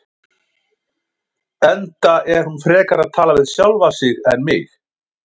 Enda er hún frekar að tala við sjálfa sig en mig.